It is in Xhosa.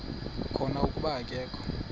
khona kuba akakho